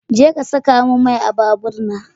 Jeka saka min mai a babur na.